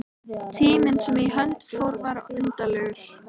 Tíminn sem í hönd fór var undarlegur.